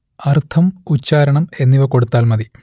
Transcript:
അർത്ഥം ഉച്ചാരണം എന്നിവ കൊടുത്താൽ മതി